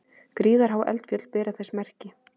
Gríðarhá eldfjöll bera þess merki.